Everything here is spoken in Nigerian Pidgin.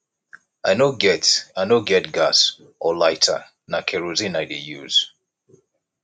i no get i no get gas or lighter na kerosene i dey use